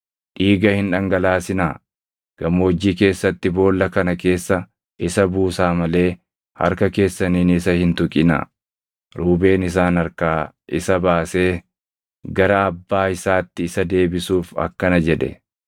dhiiga hin dhangalaasinaa. Gammoojjii keessatti boolla kana keessa isa buusaa malee harka keessaniin isa hin tuqinaa.” Ruubeen isaan harkaa isa baasee gara abbaa isaatti isa deebisuuf akkana jedhe.